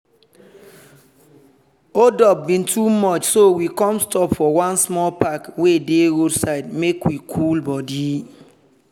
holdup bin too much so we come stop for one small park wey dey road side make we cool body.